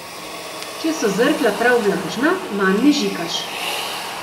Če so zrkla prav vlažna, manj mežikaš.